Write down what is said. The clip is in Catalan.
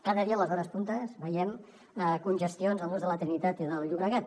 cada dia a les hores punta veiem congestions al nus de la trinitat i del llobregat